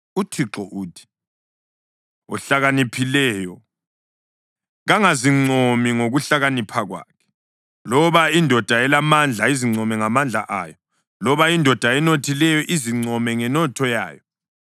UThixo uthi: “Ohlakaniphileyo kangazincomi ngokuhlakanipha kwakhe, loba indoda elamandla izincome ngamandla ayo, loba indoda enothileyo izincome ngenotho yayo,